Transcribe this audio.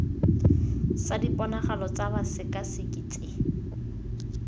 sa diponagalo tsa bosekaseki tse